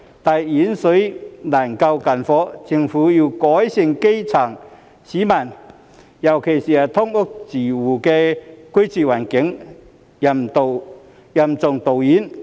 但遠水難救近火，政府要改善基層市民——尤其是"劏房"住戶——的居住環境，任重道遠。